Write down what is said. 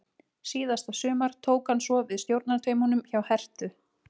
Síðasta sumar tók hann svo við stjórnartaumunum hjá Herthu.